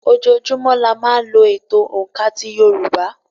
Ojoojúmọ́ la máa ń lò ètò òǹkà ti yorùbá